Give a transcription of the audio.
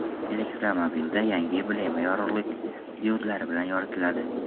Elektromobilda yangi emblema yorug‘lik diodlari bilan yoritiladi.